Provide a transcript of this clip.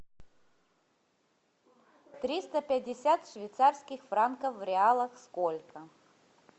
триста пятьдесят швейцарских франков в реалах сколько